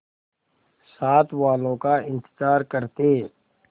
साथ वालों का इंतजार करते